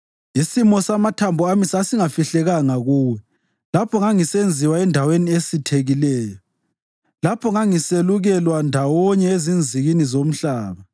Isimo samathambo ami sasingafihlekanga kuwe lapho ngangisenziwa endaweni esithekileyo. Lapho ngangiselukelwa ndawonye ezinzikini zomhlaba,